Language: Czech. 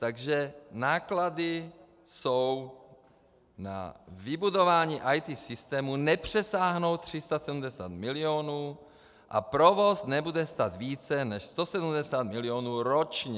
Takže náklady jsou na vybudování ET systému, nepřesáhnou 370 milionů a provoz nebude stát více než 170 milionů ročně.